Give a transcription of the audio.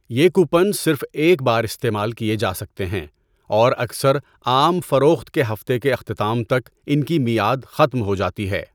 یہ کوپن صرف ایک بار استعمال کیے جا سکتے ہیں اور اکثر عام فروخت کے ہفتے کے اختتام تک ان کی میعاد ختم ہو جاتی ہے۔